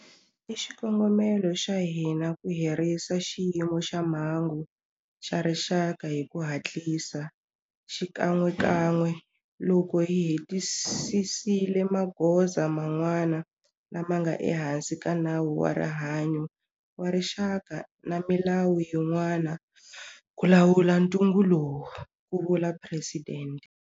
I xikongomelo xa hina ku herisa Xiyimo xa Mhangu xa Rixaka hi ku hatlisa xikan'wekan'we loko hi hetisisile magoza man'wana lama nga ehansi ka Nawu wa Rihanyo wa Rixaka na milawu yin'wana ku lawula ntungu lowu, ku vula Presidente.